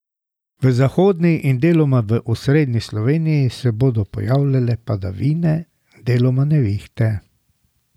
V zahodni in deloma v osrednji Sloveniji se bodo pojavljale padavine, deloma nevihte.